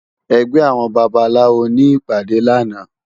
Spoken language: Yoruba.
Ègbè áwòn bàbáláwó ni ipàdé làná